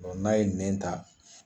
Dɔnku n'a ye nɛn ta.